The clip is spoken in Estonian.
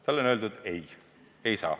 Talle on öeldud, et ei saa hindu tõsta.